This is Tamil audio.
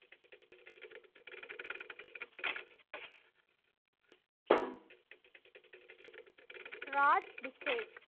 ராஜ் பிசேக்